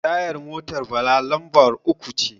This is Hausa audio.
tayar motar Bala lambar uku ce